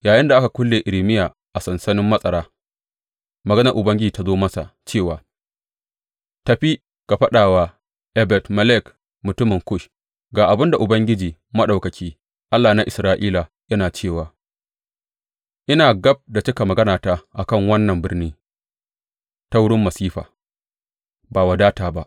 Yayinda aka kulle Irmiya a sansanin matsara, maganar Ubangiji ta zo masa cewa, Tafi ka faɗa wa Ebed Melek mutumin Kush, Ga abin da Ubangiji Maɗaukaki, Allah na Isra’ila, yana cewa ina gab da cika maganata a kan wannan birni ta wurin masifa, ba wadata ba.